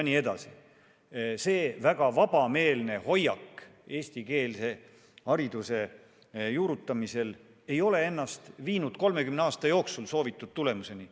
Selline väga vabameelne hoiak eestikeelse hariduse juurutamisel ei ole 30 aasta jooksul viinud soovitud tulemuseni.